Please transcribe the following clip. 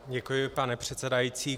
Děkuji, pane předsedající.